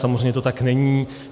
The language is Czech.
Samozřejmě to tak není.